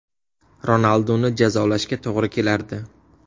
Ronalduni jazolashga to‘g‘ri kelardi.